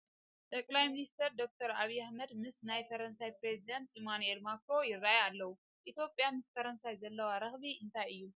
ጠቕላይ ሚኒስተር ዶክተር ኣብዪ ኣሕመድ ምስ ናይ ፈረንሳይ ፕረዚደንት ኢማኑኤል ማክሮን ይርአዩ ኣለዉ፡፡ ኢትዮጵያ ምስ ፈረንሳይ ዘለዋ ረኽቢ እንታይ እዩ?